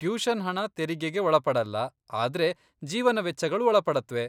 Tuition ಹಣ ತೆರಿಗೆಗೆ ಒಳಪಡಲ್ಲ, ಆದ್ರೆ ಜೀವನ ವೆಚ್ಚಗಳು ಒಳಪಡತ್ವೆ.